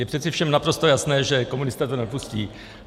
Je přece všem naprosto jasné, že komunisté to nepustí.